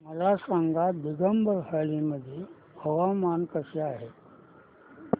मला सांगा दिबांग व्हॅली मध्ये हवामान कसे आहे